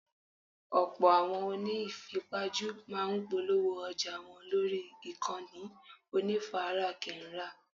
Ọ̀pọ̀ àwọn oní ìfipajú máa ń polówó ọjà wọn lórí ìkànnì onífarakínra.